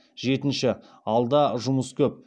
жетінші алда жұмыс көп